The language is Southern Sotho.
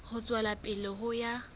ho tswela pele ho ya